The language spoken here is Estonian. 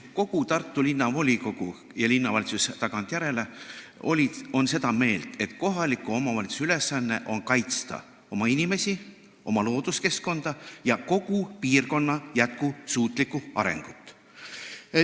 Kogu Tartu Linnavolikogu ja linnavalitsus tagantjärele on seda meelt, et kohaliku omavalitsuse ülesanne on kaitsta oma inimesi ja looduskeskkonda ning kogu piirkonna jätkusuutlikku arengut.